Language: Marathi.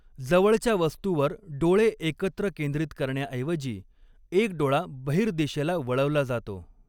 जवळच्या वस्तूवर डोळे एकत्र केंद्रित करण्याऐवजी, एक डोळा बहिर्दिशेला वळवला जातो.